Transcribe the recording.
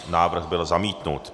Návrh byl zamítnut.